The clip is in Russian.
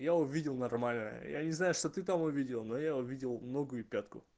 я увидел нормальное я не знаю что ты там увидела но я увидел ногу и пятку